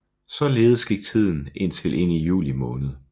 Således gik tiden indtil ind i juli måned